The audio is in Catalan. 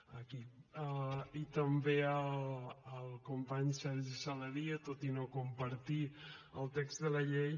ah aquí i també al company sergi saladié tot i no compartir el text de la llei